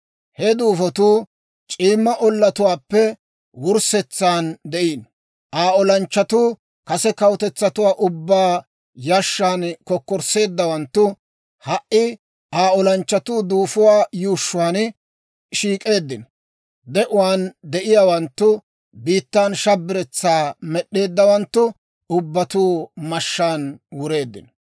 He duufotuu c'iimma ollatuwaappe wurssetsaan de'iino. Aa olanchchatuu, kase kawutetsatuwaa ubbaa yashshan kokkorsseeddawanttu, ha"i Aa olanchchatuu duufuwaa yuushshuwaan shiik'k'eeddino. De'uwaan de'iyaawanttu biittaan shabiretsaa med'eeddawanttu ubbatuu mashshaan wureeddino.